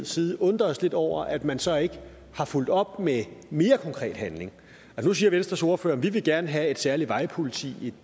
side undrer os lidt over at man så ikke har fulgt op med mere konkret handling nu siger venstres ordfører vi vil gerne have et særligt vejpoliti